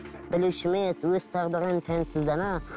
білуші ме еді өз тағдырын тәнсіз дана